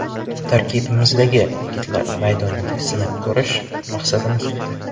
Tarkibimizdagi yigitlarni maydonda sinab ko‘rish maqsadimiz edi.